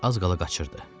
az qala qaçırdı.